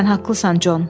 Sən haqlısan, Con.